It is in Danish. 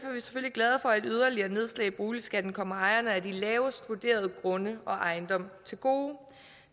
glade for at yderligere nedslag i boligskatten kommer ejerne af de lavest vurderede grunde og ejendomme til gode